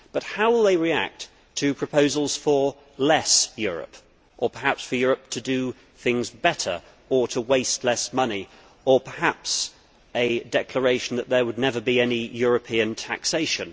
How will it react, however, to proposals for less Europe, or perhaps for Europe to do things better, or to waste less money, or perhaps a declaration that there would never be any European taxation?